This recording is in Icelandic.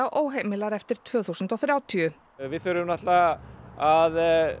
óheimilar eftir tvö þúsund og þrjátíu við þurfum náttúrulega að